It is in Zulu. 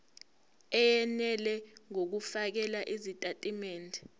eyenele ngokufakela izitatimende